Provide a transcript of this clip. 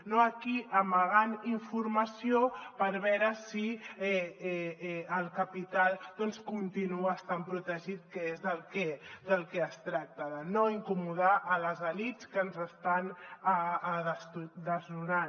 no aquí amagant informació per veure si el capital doncs continua estant protegit que és del que es tracta de no incomodar les elits que ens estan desnonant